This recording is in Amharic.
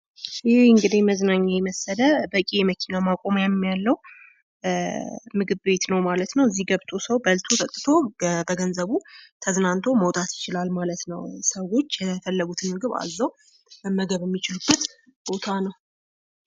ይህ እንግዲህ መዝናኛ የመሰለ በቂ የመኪና ማቆሚያ ያለው ምግብ ቤት ነው ማለት ነው:: እዚህ ገብቶ ሰው በልቶ ጠጥቶ በገንዘቡ ተዝናንቶ መውጣት ይችላል ማለት ነው:: ሰዎች የፈለጉትን ምግብ አዘው መመገብ የሚችሉበት ቦታ ነው::